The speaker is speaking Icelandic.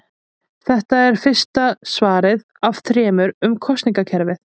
Þetta er fyrsta svarið af þremur um kosningakerfið.